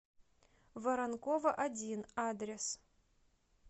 воронкова один адрес